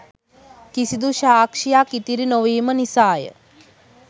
කිසිදු සාක්ෂියක් ඉතිරි නොවීම නිසාය